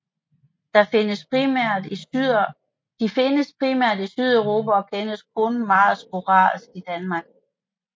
De findes primært i Sydeuropa og kendes kun meget sporadisk i Danmark